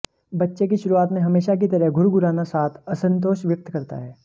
बच्चे की शुरुआत में हमेशा की तरह घुरघुराना साथ असंतोष व्यक्त करता है